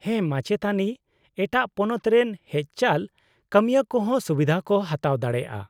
-ᱦᱮᱸ, ᱢᱟᱪᱮᱛᱟᱹᱱᱤ, ᱮᱴᱟᱜ ᱯᱚᱱᱚᱛ ᱨᱮᱱ ᱦᱮᱡᱪᱟᱞ ᱠᱟᱹᱢᱤᱭᱟᱹ ᱠᱚᱦᱚᱸ ᱥᱩᱵᱤᱫᱷᱟ ᱠᱚ ᱦᱟᱛᱟᱣ ᱫᱟᱲᱮᱭᱟᱜᱼᱟ ᱾